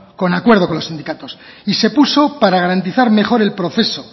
con acuerdo con los sindicatos y se puso para garantizar mejor el proceso